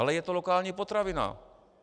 Ale je to lokální potravina.